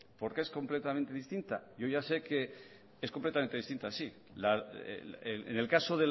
porque es completamente distinta yo ya sé que es completamente distinta sí en el caso